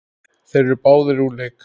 Þeir eru báðir úr leik.